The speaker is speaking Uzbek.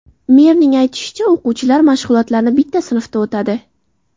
Merning aytishicha, o‘quvchilar mashg‘ulotlarni bitta sinfda o‘tadi.